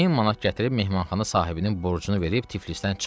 1000 manat gətirib mehmanxana sahibinin borcunu verib Tiflisdən çıxdım.